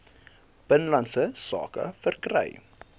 binnelandse sake verkry